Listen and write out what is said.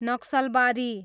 Naxalbari